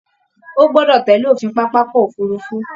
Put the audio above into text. Ó gọdọ̀ tẹ̀lé òfin pápákọ òfurufú!